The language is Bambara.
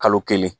Kalo kelen